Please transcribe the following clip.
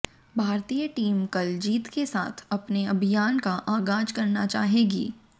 भारतीय टीम कल जीत के साथ अपने अभियान का आगाज करना चाहेगी